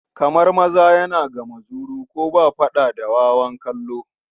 Kamar maza yana ga muzuru, ko ba faɗa da wawan kallo.